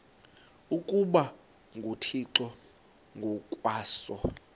ukuba nguthixo ngokwaso